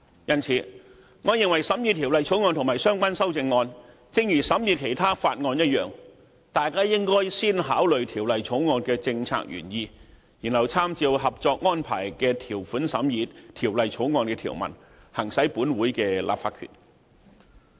因此，我認為大家審議《條例草案》和相關修正案時，應如審議其他法案一樣，應先考慮《條例草案》的政策原意，然後參照《合作安排》的條款審議《條例草案》的條文，行使本會的立法權。